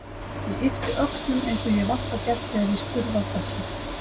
Ég yppti öxlum eins og ég hef alltaf gert þegar ég er spurð að þessu.